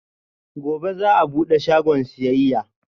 Gobe ​​za'a bude shagon siyayya